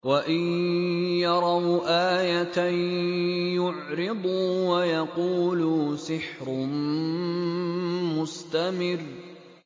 وَإِن يَرَوْا آيَةً يُعْرِضُوا وَيَقُولُوا سِحْرٌ مُّسْتَمِرٌّ